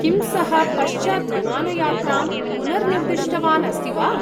किं सः पश्चात् विमानयात्रां पुनर्निर्दिष्टवान् अस्ति वा?